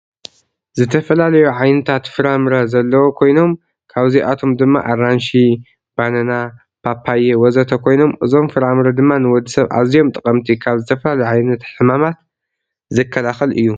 ዝተፈላለዩ ዓይነታት ፍራምረ ዘለዎ ኮይኖም ካብዚአቶመ ድማ አራንሺ፤ በነና፤ ፓፓየ ወዘተ ኮይኖም እዞመ ፍራምረ ድማ ንወድሰብ አዚዮም ጠቀመቲ ካብ ዝተፈላለዩ ዓይነት ሕማማት ዝከላከል እዩ።